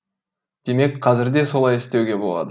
демек қазір де солай істеуге болады